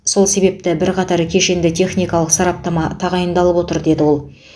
сол себепті бірқатар кешенді техникалық сараптама тағайындалып отыр деді ол